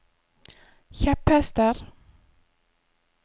kjepphester